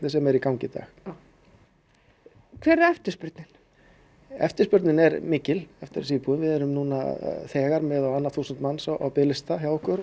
sem er í gangi í dag hver er eftirspurnin eftirspurnin er mikil eftir þessum íbúðum við erum núna þegar með á annað þúsund manns á biðlista hjá okkur